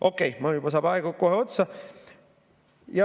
Okei, mul saab aeg kohe otsa.